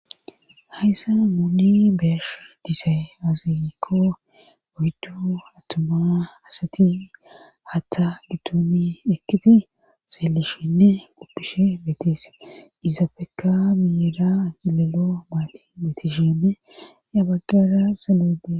Hayssa muuni beyash disay aziyikko boydu attuma asati hatta gittoni ekkiti seellishinne qoppishe betese izafeka biyida agilelo maati metishenne ya baggara salude,